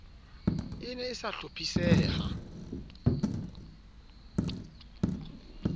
e ne e sa hlophiseha